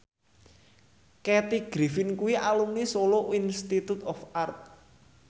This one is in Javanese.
Kathy Griffin kuwi alumni Solo Institute of Art